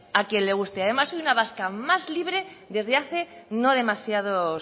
a quien le guste además soy una vasca más libre desde hace no demasiados